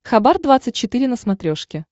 хабар двадцать четыре на смотрешке